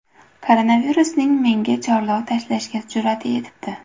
Koronavirusning menga chorlov tashlashga jur’ati yetibdi.